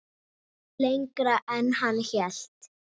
Lengra en hann hélt